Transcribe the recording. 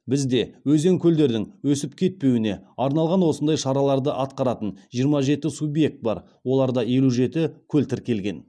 бізде өзен мен көлдердің өсіп кетпеуіне арналған осындай шараларды атқаратын жиырма жеті субъект бар оларда елу жеті көл тіркелген